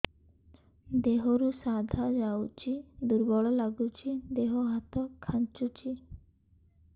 ଦେହରୁ ସାଧା ଯାଉଚି ଦୁର୍ବଳ ଲାଗୁଚି ଦେହ ହାତ ଖାନ୍ଚୁଚି